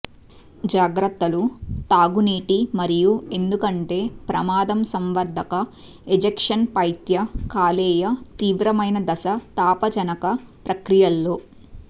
జాగ్రత్తలు త్రాగునీటి మరియు ఎందుకంటే ప్రమాదం సంవర్ధక ఎజెక్షన్ పైత్య కాలేయ తీవ్రమైన దశ తాపజనక ప్రక్రియల్లో